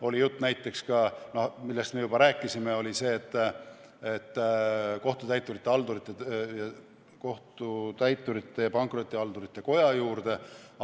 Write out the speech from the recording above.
Oli jutt näiteks ka sellest, millest me juba rääkisime, et võiks selle teha Kohtutäiturite ja Pankrotihaldurite Koja juurde.